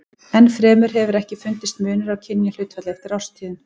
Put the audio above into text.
Enn fremur hefur ekki fundist munur á kynjahlutfalli eftir árstíðum.